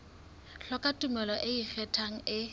hloka tumello e ikgethang e